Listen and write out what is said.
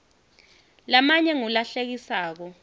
lamanye ngulahlekisako